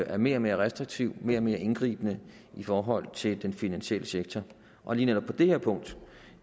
er mere og mere restriktivt og mere og mere indgribende i forhold til den finansielle sektor og lige netop på det her punkt